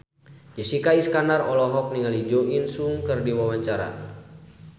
Jessica Iskandar olohok ningali Jo In Sung keur diwawancara